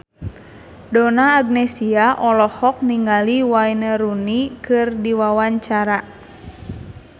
Donna Agnesia olohok ningali Wayne Rooney keur diwawancara